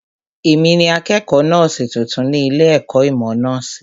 Èmi ni akẹ́kọ̀ọ́ nọ́ọ̀sì tuntun ní ilé ẹ̀kọ́ ìmọ̀ nọ́ọ̀sì